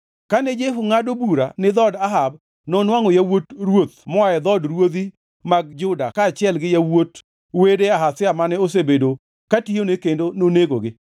Kane Jehu ngʼado bura ni dhood Ahab, nonwangʼo yawuot ruoth moa e dhood ruodhi mag Juda kaachiel gi yawuot wede Ahazia mane osebedo katiyone kendo nonegogi.